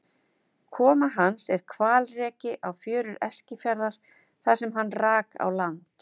Koma hans er hvalreki á fjörur Eskifjarðar þar sem hann rak á land.